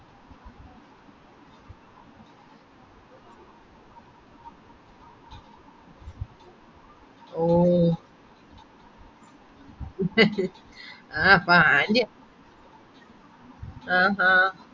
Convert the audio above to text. ഓ ആഹ് അപ്പൊ aunty അഹ് അഹ്